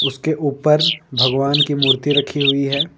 उसके ऊपर भगवान की मूर्ति रखी हुई है।